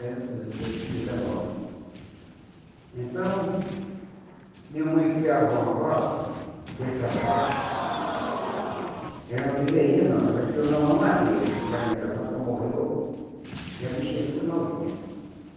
e dezenove. Então, minha mãe criava uma vaca, que essa vaca era uma bezerrinha nova, ela criou na mamadeira, que a mãe da vaca morreu e a bichinha ficou novinha.